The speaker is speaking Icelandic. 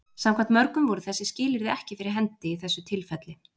samkvæmt mörgum voru þessi skilyrði ekki fyrir hendi í þessu tilfelli